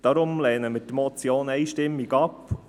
Deshalb lehnen wir die Motion einstimmig ab.